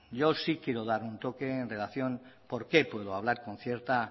yo sí quiero dar un toque en relación de por qué puedo hablar con cierta